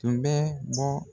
Tun bɛ bɔ